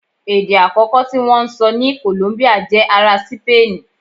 Èdè àkọ́kọ́ tí wọ́n ń sọ ní Kòlóńbíà jẹ́ ará Sípéènì